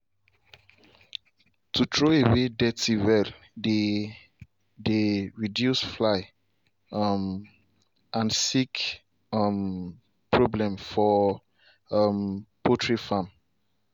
to throw away dirty well dey dey reduce fly um and sick um problem for um poultry farm.